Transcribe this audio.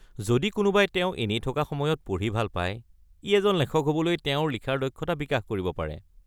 যদি কোনোবাই তেওঁ এনেই থকা সময়ত পঢ়ি ভাল পায়, ই এজন লেখক হ'বলৈ তেওঁৰ লিখাৰ দক্ষতা বিকাশ কৰিব পাৰে।